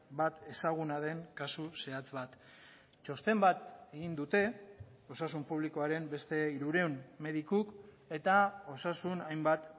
bat ezaguna den kasu zehatz bat txosten bat egin dute osasun publikoaren beste hirurehun medikuk eta osasun hainbat